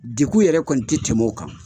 Degun yɛrɛ kɔni tɛ tɛm'o kan.